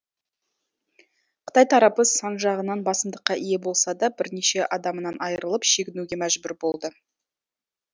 қытай тарапы сан жағынан басымдыққа ие болса да бірнеше адамынан айырылып шегінуге мәжбүр болды